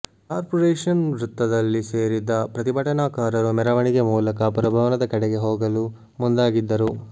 corporation ವೃತ್ತದಲ್ಲಿ ಸೇರಿದ್ದ ಪ್ರತಿಭಟನಾಕಾರರು ಮೆರವಣಿಗೆ ಮೂಲಕ ಪುರಭವನದ ಕಡೆಗೆ ಹೋಗಲು ಮುಂದಾಗಿದ್ದರು